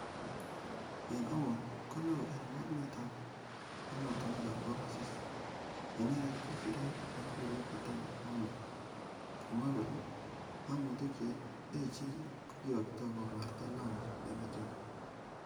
En amut, ko neo en mornetab emotinwegab kong'asis nei inendet ko siret nikikuren Adan Mohamed kokimwa kole,"Ng'omutik che echen ko kiyokto komarta Lamu en Ethiopia,"